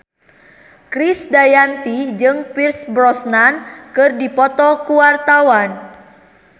Krisdayanti jeung Pierce Brosnan keur dipoto ku wartawan